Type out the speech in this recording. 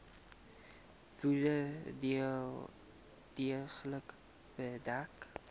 wond deeglik bedek